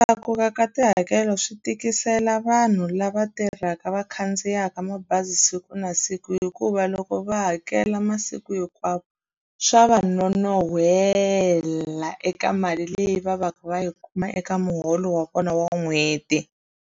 Ku tlakuka ka tihakelo swi tikisela vanhu lava tirhaka va khandziyaka mabazi siku na siku hikuva loko va hakela masiku hinkwawo swa va nonohela eka mali leyi va va ka va yi kuma eka muholo wa vona wa n'hweti.